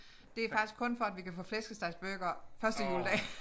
Det faktisk kun for at vi kan få flæskestegsburgere første juledag